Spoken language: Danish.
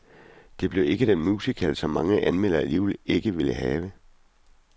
Det blev ikke den musical, som mange anmeldere alligevel ikke vil have.